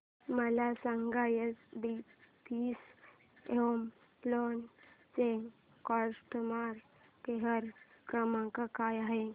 मला सांगा HDFC home loan चा कस्टमर केअर क्रमांक काय आहे